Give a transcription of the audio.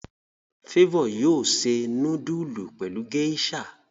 Favour yóò se nudulu pẹlú geisha.